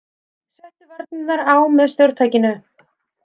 Settu varnirnar á með stjórntækinu!